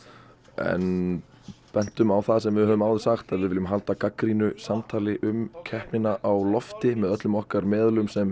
en bentum á það sem við höfum áður sagt að við viljum halda gagnrýnu samtali um keppnina á lofti með öllum okkar meðölum sem